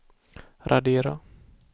radera